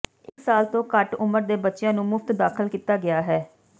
ਇੱਕ ਸਾਲ ਤੋਂ ਘੱਟ ਉਮਰ ਦੇ ਬੱਚਿਆਂ ਨੂੰ ਮੁਫਤ ਦਾਖਲ ਕੀਤਾ ਗਿਆ ਹੈ